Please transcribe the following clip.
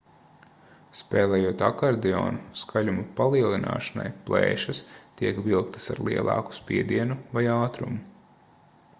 spēlējot akordeonu skaļuma palielināšanai plēšas tiek vilktas ar lielāku spiedienu vai ātrumu